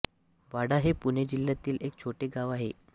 वाडा हे पुणे जिल्ह्यातील एक छोटे गाव आहे